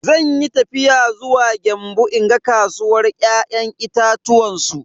Zanyi tafiya zuwa Gembu in ga kasuwar ya'yan itatuwan su.